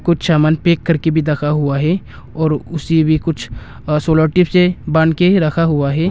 कुछ सामान पैक करके भी रखा हुआ है और उसे भी कुछ अ सोलर टेप से बांध के रखा हुआ है।